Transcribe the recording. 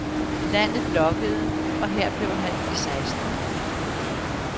Landet lokkede, og her blev han i seksten år.